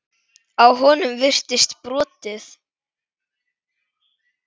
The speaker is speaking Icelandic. Á honum virtist brotið.